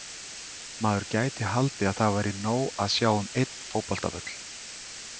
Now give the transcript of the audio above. Maður gæti haldið að það væri nóg að sjá um einn fótboltavöll.